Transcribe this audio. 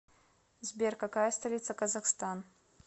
сбер какая столица казахстан